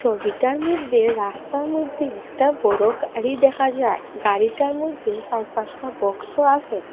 ছবিটার মইধ্যে রাস্তা মইধ্যে একটা বড় গাড়ি দেখা যায় গাড়িটার মধ্যে সার পাঁচটা বক্সও আসে।